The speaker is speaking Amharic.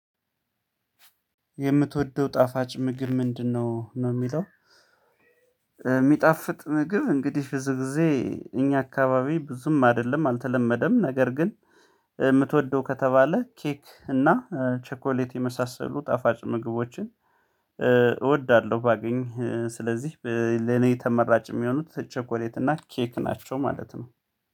የምትወደው ጣፋጭ ምግብ ምንድነ? ነው የሚለው የሚጣፍጥ ምግብ እንግዲህ ብዙ ጊዜ እኛ አካባቢ ብዙም አይደለም አልተለመደም ነገር ግን የምትወደው ከተባለ ኬክ እና ቸኮሌት የመሳሰሉ ጣፋጭ ምግቦችን እወዳለሁ ባገኝ ስለዚህ ለኔ ተመራጭ የሚሆኑት ቸኮሌት እና ኬክ ናቸው ማለት ነው።